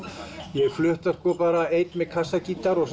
ég hef flutt þær einn með kassagítar og